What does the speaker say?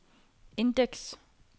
indeks